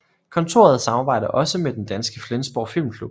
Kontoret samarbejder også med den danske Flensborg Filmklub